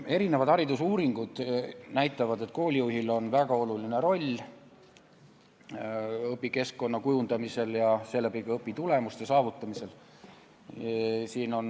Erinevad haridusuuringud näitavad, et koolijuhil on väga oluline roll õpikeskkonna kujundamisel ja seeläbi ka õpitulemuste saavutamisel.